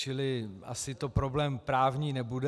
Čili asi to problém právní nebude.